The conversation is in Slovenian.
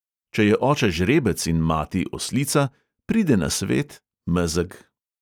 Če je oče žrebec in mati oslica, pride na svet mezeg.